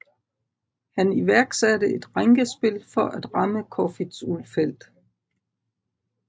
Han iværksatte et rænkespil for at ramme Corfitz Ulfeldt